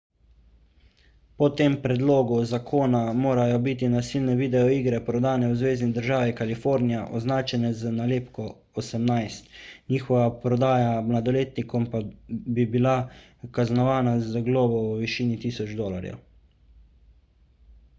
po tem predlogu zakona morajo biti nasilne videoigre prodane v zvezni državi kalifornija označene z nalepko 18 njihova prodaja mladoletnikom pa bi bila kaznovana z globo v višini 1000 dolarjev